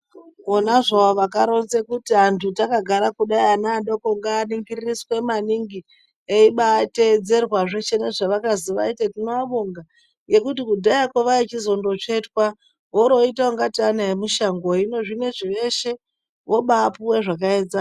Vona zvavo vakaronze kuti vantu takagara kudai ana adoko nganingiririswe maningi ebatedzerwa zveshe nezvavakazi vaite. Tinoabonga ngekuti kudhayako vaichizondotsvetwa oro voita ungati ana emushango. Hino zvinozi veshe vobapuve zvakaenzana.